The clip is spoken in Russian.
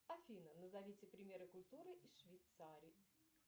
афина назовите примеры культуры из швейцарии